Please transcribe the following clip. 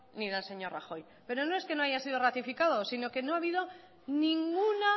ni del señor rajoy pero no es que no haya sido ratificado sino que no ha habido ninguna